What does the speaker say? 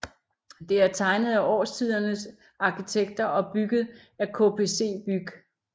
Det er tegnet af Årstiderne arkitekter og bygget af KPC BYG